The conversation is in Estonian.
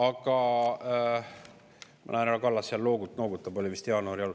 Ma näen, et härra Kallas seal noogutab, oli vist jah jaanuari alul.